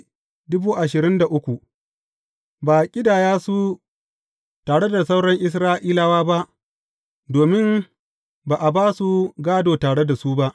Ba a ƙidaya su tare da sauran Isra’ilawa ba, domin ba a ba su gādo tare da su ba.